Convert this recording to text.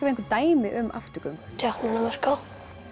einhver dæmi um afturgöngu djákninn á Myrká